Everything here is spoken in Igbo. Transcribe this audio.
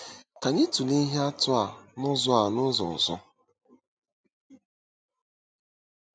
Ka anyị tụlee ihe atụ a n'ụzọ a n'ụzọ ọzọ.